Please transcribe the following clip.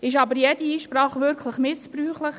Ist aber wirklich jede Einsprache missbräuchlich?